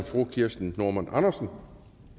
fru kirsten normann andersen